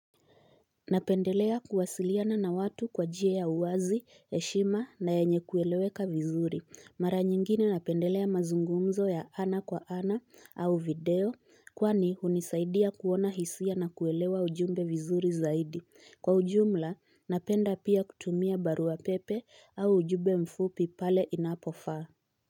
Napendelea kuwasiliana na watu kwa jia ya uwazi, heshima na yenye kueleweka vizuri. Mara nyingine napendelea mazungumzo ya ana kwa ana au video kwani hunisaidia kuona hisia nakuelewa ujumbe vizuri zaidi. Kwa ujumla, napenda pia kutumia barua pepe au ujumbe mfupi pale inapofaa.